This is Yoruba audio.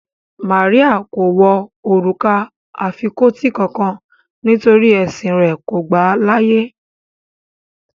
Màríà kò wọ orúkà afikọtí kánkán nítorí ẹ̀ṣìn rẹ̀ kò gbà laàyè